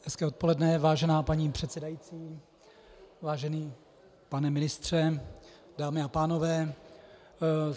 Hezké odpoledne, vážená paní předsedající, vážený pane ministře, dámy a pánové.